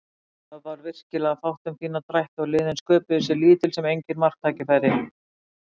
Það var virkilega fátt um fína drætti og liðin sköpuðu sér lítil sem engin marktækifæri.